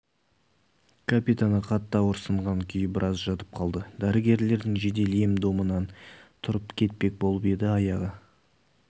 капитаны қатты ауырсынған күйі біраз жатып қалды дәрігерлердің жедел ем-домынан тұрып кетпек болып еді аяғы